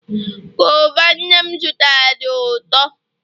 guava nnem zụtara di uto